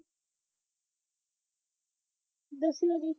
ਦਸੋ ਜੀ